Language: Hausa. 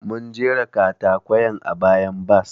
Mun jera katakwayen a bayan bas.